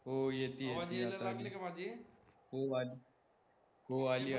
हो येतीये येतीये, हो अली, हो अली